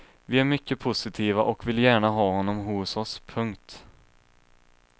Vi är mycket positiva och vill gärna ha honom hos oss. punkt